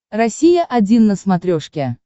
россия один на смотрешке